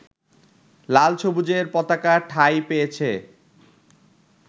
লাল-সবুজের পতাকা ঠাঁই পেয়েছে